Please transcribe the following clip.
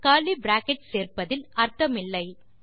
curly brackets சேர்ப்பதில் அர்த்தமில்லை